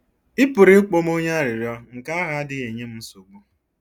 “Ị pụrụ ịkpọ m onye arịrịọ, nke ahụ adịghị enye m nsogbu.